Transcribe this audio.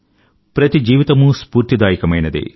ప్రతి జీవితమూ స్ఫూర్తిదాయకమైనదే